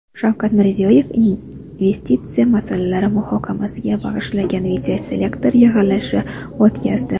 Shavkat Mirziyoyev investitsiya masalalari muhokamasiga bag‘ishlangan videoselektor yig‘ilishi o‘tkazdi.